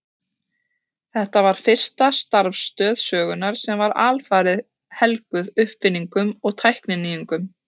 Þetta var fyrsta starfstöð sögunnar sem var alfarið helguð uppfinningum og tækninýjungum.